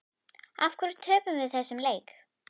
Af hverju töpum við þessum leik?